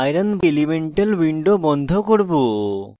এই iron fe elemental window বন্ধ করব